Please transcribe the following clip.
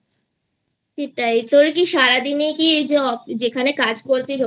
সেটাই তোর কি সারাদিনে ই কি এইJobযেখানে কাজ করছিস